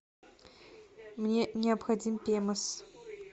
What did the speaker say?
мне необходим пемос